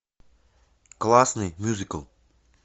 классный мюзикл